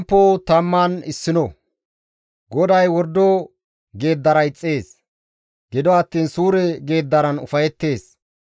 GODAY wordo geeddara ixxees; gido attiin suure geeddaran ufayettees.